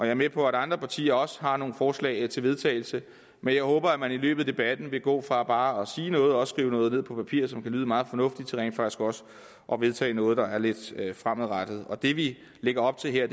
er med på at andre partier også har nogle forslag til vedtagelse men jeg håber at man i løbet af debatten vil gå fra bare at sige noget og skrive noget ned på papir som kan lyde meget fornuftigt til rent faktisk også at vedtage noget der er lidt fremadrettet det vi lægger op til her